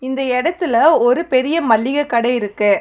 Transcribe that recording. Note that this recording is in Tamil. இந்த எடத்துல ஒரு பெரிய மள்ளிக கட இருக்கு.